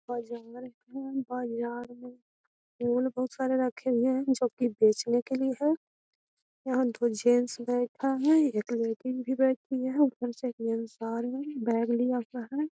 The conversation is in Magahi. और जंगल भी है बहुत झाड़ भी फूल बहुत सारे रखे हुए हैं जो की बेचने के लिए है यहां दो जेंट्स बैठा है एक लेडिस भी बैठी है ऊपर से एक जेंट्स भी बैग लिया हुआ है।